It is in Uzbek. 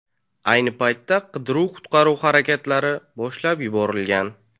Ayni paytda qidiruv-qutqaruv harakatlari boshlab yuborilgan.